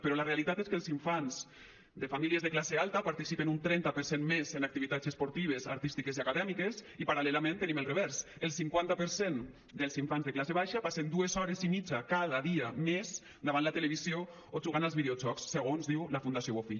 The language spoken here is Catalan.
però la realitat és que els infants de famílies de classe alta participen un trenta per cent més en activitats esportives artístiques i acadèmiques i paral·lelament tenim el revers el cinquanta per cent dels infants de classe baixa passen dues hores i mitja cada dia més davant la televisió o jugant als videojocs segons diu la fundació bofill